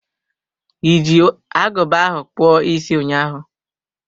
Iji aguba ahụ kpụọ isi ụnyaahụ.